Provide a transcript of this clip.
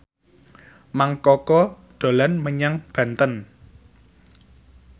Mang Koko dolan menyang Banten